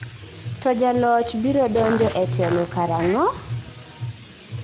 To jaloch biro donjo e telo karang'o?